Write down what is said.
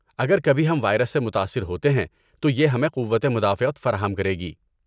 اگر کبھی ہم وائرس سے متاثر ہوتے ہیں تو یہ ہمیں قوت مدافعت فراہم کرے گی۔